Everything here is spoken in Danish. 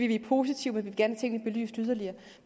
vi er positive